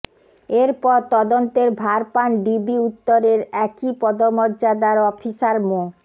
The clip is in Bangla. এর পর তদন্তের ভার পান ডিবি উত্তরের একই পদমর্যাদার অফিসার মো